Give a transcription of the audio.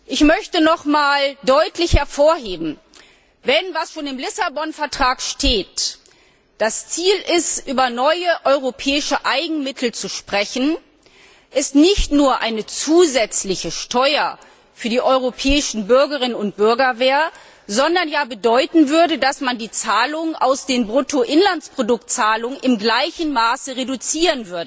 Ich möchte nochmals deutlich hervorheben Wenn was schon im Lissabon Vertrag steht das Ziel ist, über neue europäische Eigenmittel zu sprechen, dann wäre dies nicht nur eine zusätzliche Steuer für die europäischen Bürgerinnen und Bürger, sondern würde bedeuten, dass man die Zahlungen aus den Bruttoinlandsproduktzahlungen in gleichem Maße reduziert.